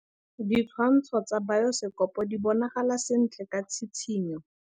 Ditshwantshô tsa biosekopo di bonagala sentle ka tshitshinyô.